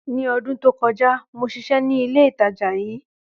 Ní ọdún tó kọjá, mo sisé ní ilé ìtajà yí